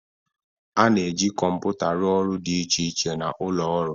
A na-eji kọmpụta rụọ ọrụ dị iche iche na ụlọ ọrụ.